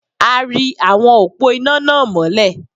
A ri awọn òpó iná náà mọ́lẹ̀.